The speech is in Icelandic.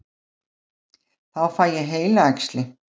Þá fæ ég heilaæxli.